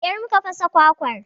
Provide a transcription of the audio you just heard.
Da ƙyar mu ka fasa kwakwar